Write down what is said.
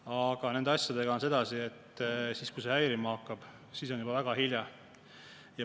Aga nende asjadega on sedasi, et siis, kui see häirima hakkab, on juba väga hilja.